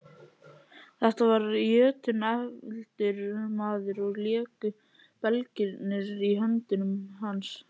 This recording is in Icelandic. Þetta var jötunefldur maður og léku belgirnir í höndum hans.